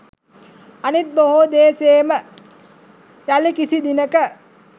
අනිත් බොහෝ දේ සේම යලි කිසි දිනක